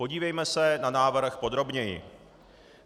Podívejme se na návrh podrobněji.